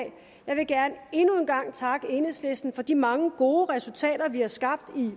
jeg vil gerne endnu en gang takke enhedslisten for de mange gode resultater vi har skabt i